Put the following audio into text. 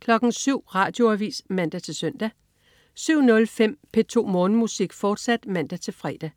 07.00 Radioavis (man-søn) 07.05 P2 Morgenmusik, fortsat (man-fre)